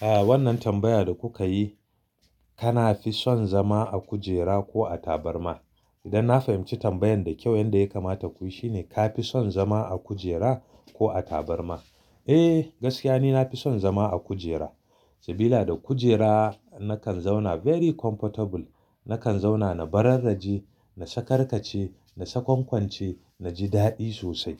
Ah wannan tambaya da kuka yi, kana fi son zama a kujera ko a tabarma? Idan na fahimci tambayan da kyau, inda ya kamata kuyi shine ka fi son zama a kujera ko a tabarma? Eh gaskiya ni nafi son zama a kujera, sabida da kujera nakan zauna very comfortable. Nakan zauna na bararraje, na sakarkace, na sakwankwance, na ji daɗi sosai.